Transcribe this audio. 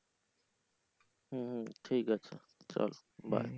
হু হু ঠিক আছে চল bye